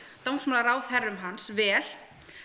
dómsmálaráðherrum hans vel